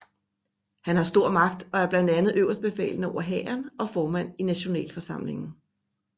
Han har stor magt og er blandt andet øverstbefalende over hæren og formand i nationalforsamlingen